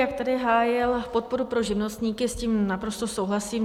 Jak tady hájil podporu pro živnostníky, s tím naprosto souhlasím.